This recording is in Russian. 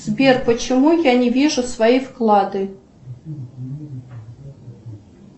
сбер почему я не вижу свои вклады